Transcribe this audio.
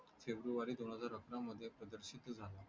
February दोन हजार अकरा मध्ये प्रदर्शित झाला